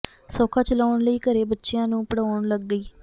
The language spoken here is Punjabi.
ਸੌਖਾ ਚਲਾਉਣ ਲਈ ਘਰੇ ਬਚਿਆਂ ਨੂੰ ਪੜਾਉਣ ਲਗ ਗਈ